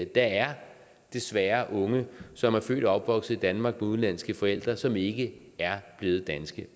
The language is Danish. der er desværre unge som er født og opvokset i danmark med udenlandske forældre som ikke er blevet danske